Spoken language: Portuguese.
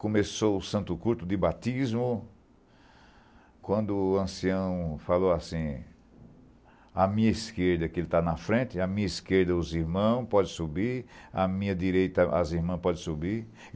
Começou o santo culto de Batismo, quando o ancião falou assim, a minha esquerda, que ele está na frente, a minha esquerda os irmãos podem subir, a minha direita as irmãs podem subir.